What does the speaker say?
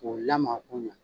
K'o lamaga ko ɲɛ